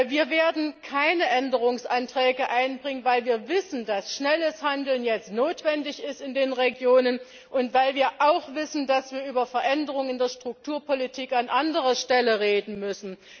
Wir werden keine Änderungsanträge einbringen, weil wir wissen, dass in den Regionen jetzt schnelles Handeln notwendig ist, und weil wir auch wissen, dass wir über Veränderungen der Strukturpolitik an anderer Stelle reden müssen.